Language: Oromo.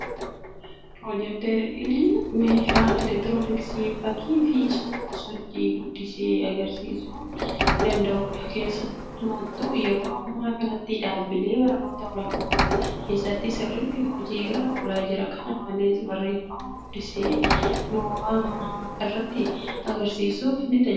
Piroojeektaayiliin, Meeshaa elektirooniksii fakkii fi suur-sochii guddisee agarsiisuu danda'uudha. Keessumattu yeroo ammaa kanatti dhaabilee barnootaa olaanoo keessatti sirriitti hojii irra oolaa jira. Kana malees, barreeffama gurguddisee nooraa mana irratti agarsiisuuf ni tajaajila.